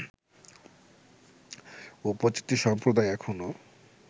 উপজাতি সম্প্রদায় এখনো